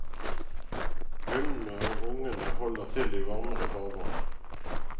Hunnene og ungene holder til i varmere farvann.